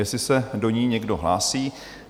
Jestli se do ní někdo hlásí?